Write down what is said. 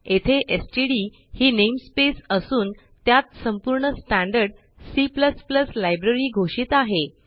येथे stdही namespaceअसून त्यात संपूर्ण स्टँडर्ड C लायब्ररी घोषित आहे